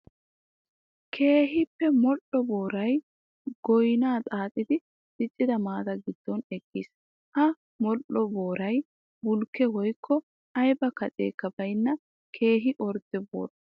Keehippe modhdho booray goynna xaaxxiddi diccidda maata gidon eqqiis. Ha modhdho booray bulkke woykko aybba kaccekka baynna keehippe ordde boora.